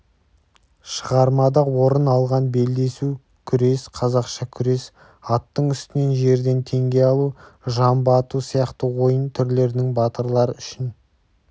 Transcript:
шығармада орын алған белдесу күрес қазақша күрес аттың үстінен жерден теңге алу жамбы ату сияқты ойын түрлерінің батырлар үшін